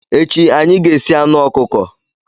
Echi, anyị ga-esi anụ ọkụkọ.